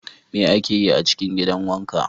Me ake yi a cikin gidan wanka?